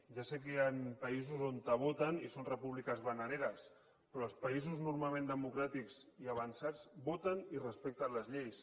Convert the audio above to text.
ja sé que hi han països on voten i són repúbliques bananeres però els països normalment democràtics i avançats voten i respecten les lleis